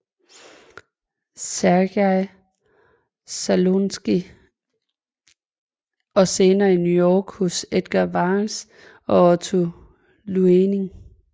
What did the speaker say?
Sergej Slonimskij og senere i New York hos Edgar Varese og Otto Luening